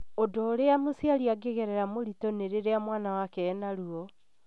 Ũndũ ũria mũciari angĩgerera mũritũ nĩ rĩrĩa mwana wake ena ruo